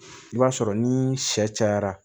I b'a sɔrɔ ni sɛ cayara